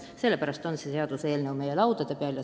Sellepärast on see seaduseelnõu meie laudade peal.